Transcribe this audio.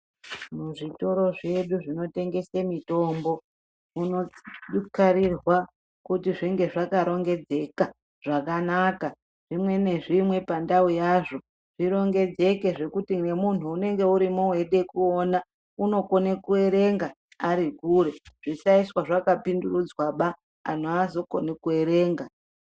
Muzvitoro zvedu zvinotengese mitombo, zvinokarirwa kuti zvinge zvakarongedzeka zvakanaka, zvimwe nezvimwe pandau yazvo. Zvirongedzeke zvekuti nemuntu unenge arimo eidawo kuona unokona kuerenga arikure. Zvisaiswa zvakapendurudzwaba, antu haazokoni kuerenga.